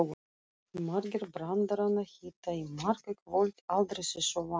Margir brandaranna hitta í mark í kvöld, aldrei þessu vant.